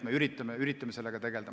Me üritame sellega tegelda.